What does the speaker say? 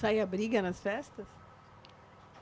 Saía briga nas festas?